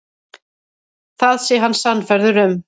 Það sé hann sannfærður um.